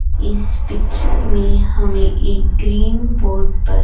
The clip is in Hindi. इस पिक्चर में हमे एक ग्रीन बोर्ड पर--